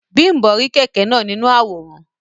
Bimbo ri kẹkẹ náà nínú àwòrán.